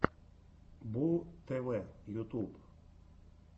бууу тв ютуб